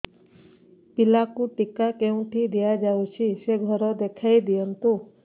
ପିଲାକୁ ଟିକା କେଉଁଠି ଦିଆଯାଉଛି ସେ ଘର ଦେଖାଇ ଦିଅନ୍ତୁ